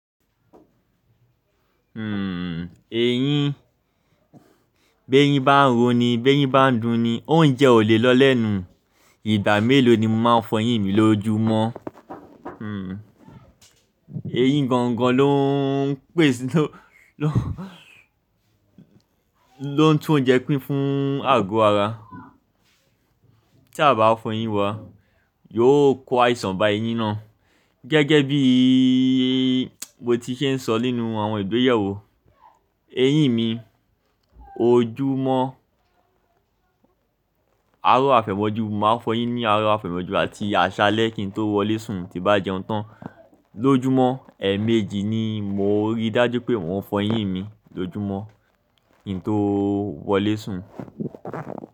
Hmm, eyín, bí eyin bá ń ro ni, bí ẹyin bá ń dùn ni, oúnjẹ ò lè lọ lẹ́nu. Ìgbà mélòó ni mo máa fọ eyín mi lójúmọ́? Hmm, eyín gan-an ló ń pèsè, ló ń, ló ń tún oúnjẹ pín fún àgọ́ ara. Tí a bá fọ eyín wa, yóò kó àìsàn bá eyín náà. Gẹ́gẹ́ bí mo ti ṣe ń sọ nínú àwọn ìgbéyewó, eyín mi, ojúmọ́, aró àfẹ̀mọ́jú mo máa fọ eyín ní aró àfẹ̀mọ́jú àti àṣálẹ́ kí n tó wọlé sùn tí bá jẹun tán. Lójúmọ́ ẹẹ̀méjì ni mo rí dájú pé mo ń fọ eyín mi lójúmọ́ kí n tó wọlé sùn.